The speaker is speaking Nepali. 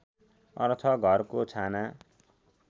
अर्थ घरको छाना